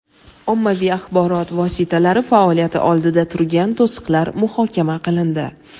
ommaviy axborot vositalari faoliyati oldida turgan to‘siqlar muhokama qilindi.